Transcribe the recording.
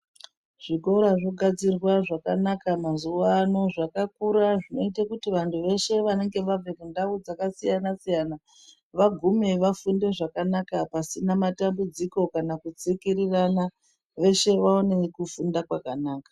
Zvikora zvogadzirwa zvakanaka mazuva ano zvakakura zvinoite kuti vanhu veshe vanenge vabve kundau dzakasiyana siyana vagume vafunde zvakanaka pasina matambudziko kana kudzingirirana. Veshe vawane kufunda kwakanaka.